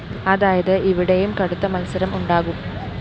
അതായത് ഇവിടെയും കടുത്ത മത്സരം ഉണ്ടാകും